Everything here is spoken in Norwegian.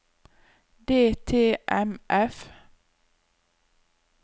DTMF